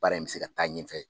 Baara in bɛ se ka taa ɲɛfɛ